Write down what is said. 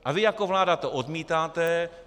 A vy jako vláda to odmítáte.